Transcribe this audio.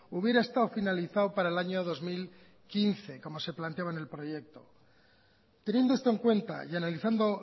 hubiera estado finalizado para el año dos mil quince como se planteaba en el proyecto teniendo esto en cuenta y analizando